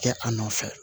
Kɛ a nɔfɛ